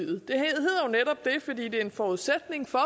fordi det er en forudsætning for